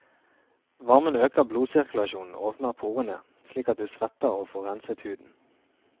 Varmen øker blodsirkulasjonen og åpner porene, slik at du svetter og får renset huden.